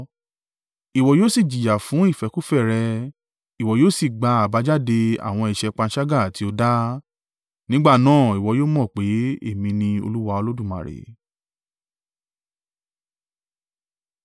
Ìwọ yóò sì jìyà fún ìfẹ́kúfẹ̀ẹ́ rẹ, ìwọ yóò sì gba àbájáde àwọn ẹ̀ṣẹ̀ panṣágà tí o dá. Nígbà náà ìwọ yóò mọ̀ pé èmi ni Olúwa Olódùmarè.”